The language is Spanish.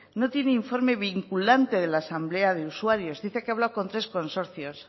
no tiene informe vinculante de la asamblea de usuarios dice que ha hablado con tres consorcios